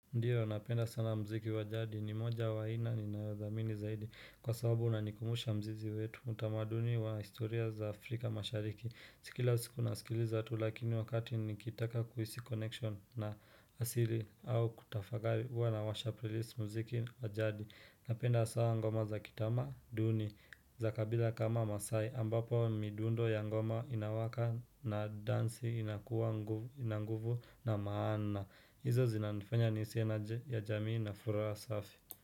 Ndiyo, napenda sana mziki wa jadi, ni moja wa aina ninayothamini zaidi Kwa sababu unanikumbusha mzizi wetu, utamaduni wa historia za Afrika mashariki Si kila siku nasikiliza tu, lakini wakati nikitaka kuhisi connection na asili au kutafakari. Huwa nawasha playlist mziki wa jadi. Napenda sana ngoma za kitama duni za kabila kama maasai ambapo midundo ya ngoma inawaka na dansi inakuwa ina nguvu na maana hizo zinanifanya niskie energy ya jamii na furaha safi.